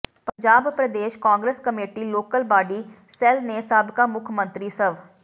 Punjab Pradesh Congress committee local body cell ਨੇ ਸਾਬਕਾ ਮੁੱਖ ਮੰਤਰੀ ਸਵ